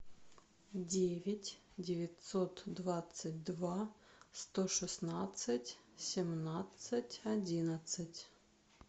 девять девятьсот двадцать два сто шестнадцать семнадцать одиннадцать